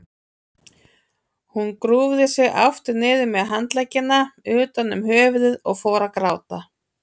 Hún grúfði sig aftur niður með handleggina utan um höfuðið og fór að gráta.